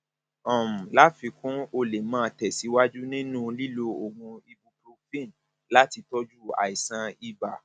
um láfikún o lè máa tẹsíwájú nínú lílo oògùn ibuprofen láti tọjú àìsàn ibà